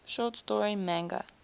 short story manga